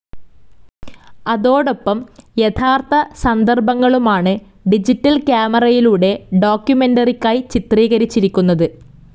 അതോടൊപ്പം യഥാർഥ സന്ദർഭങ്ങളുമാണ് ഡിജിറ്റൽ ക്യാമറയിലൂടെ ഡോക്യുമെന്ററിക്കായി ചിത്രീകരിച്ചിരിക്കുന്നത്.